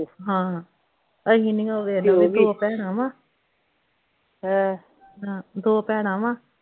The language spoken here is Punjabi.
ਹਾਂ ਅਸੀਂ ਨਹੀਂ ਓ ਵੇਖ ਲਾ ਉਹਦੇ ਦੋ ਭੈਣਾਂ ਵਾ ਦੋ ਭੈਣਾਂ ਵਾ